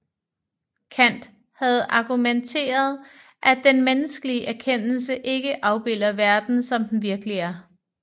Kant havde argumenteret at den menneskelige erkendelse ikke afbilder verden som den virkelig er